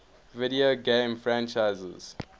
video game franchises